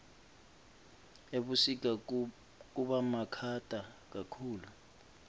ebusika kubamakhata kakhulu